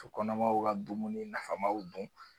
Kɔnɔmaw ka dumuni nafamaw dun